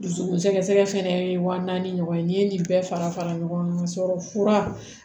Dusukun sɛgɛsɛgɛ fɛnɛ ye wa naani ɲɔgɔn ye n'i ye nin bɛɛ fara fara ɲɔgɔn kan ka sɔrɔ fura